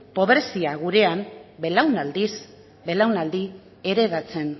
pobrezia gurean belaunaldiz belaunaldi heredatzen